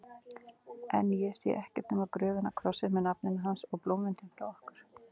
En ég sé ekkert nema gröfina, krossinn með nafninu hans og blómvöndinn frá okkur.